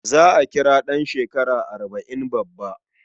Za a kira ɗan shekara arba' in babba.